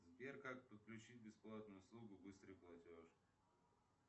сбер как подключить бесплатную услугу быстрый платеж